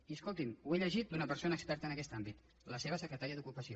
i escolti’m ho he llegit d’una persona experta en aquest àmbit la seva secretària d’ocupació